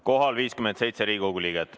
Kohal on 57 Riigikogu liiget.